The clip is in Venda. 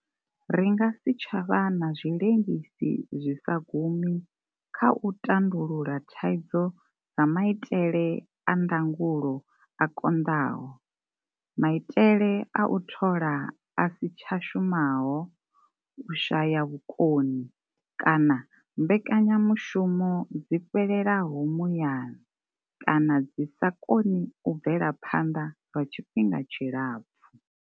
Ri nga si tsha vha na zwi lengisi zwi sa gumi kha u tandulula thaidzo dza mai tele a ndangulo a konḓaho, maitele a u thola a si tsha shumaho, u shaya vhukoni, kana mbekanyamushumo dzi fhelelaho muyani kana dzi sa koni u bvela phanḓa lwa tshifhinga tshilapfu.